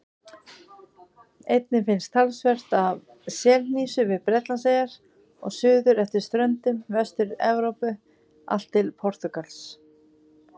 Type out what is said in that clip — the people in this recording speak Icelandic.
Einnig finnst talsvert af selhnísu við Bretlandseyjar og suður eftir ströndum Vestur-Evrópu allt til Portúgals.